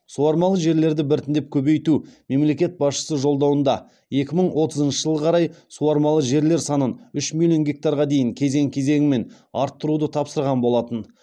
суармалы жерлерді біртіндеп көбейту мемлекет басшысы жолдауында екі мың отызыншы жылға қарай суармалы жерлер санын үш миллион гектарға дейін кезең кезеңімен арттыруды тапсырған болатын